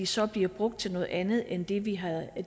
så bliver de brugt til noget andet end det vi havde